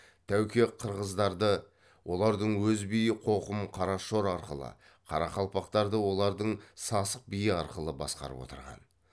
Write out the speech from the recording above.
тәуке қырғыздарды олардың өз биі қоқым қарашор арқылы қарақалпақтарды олардың сасық биі арқылы басқарып отырған